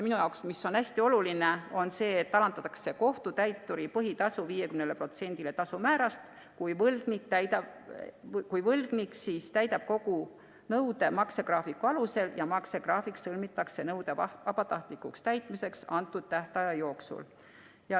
Minu arvates on hästi oluline, et alandatakse kohtutäituri põhitasu 50%‑le tasumäärast, kui võlgnik täidab kogu nõude maksegraafiku alusel ja maksegraafik sõlmitakse nõude vabatahtlikuks täitmiseks antud tähtaja jooksul.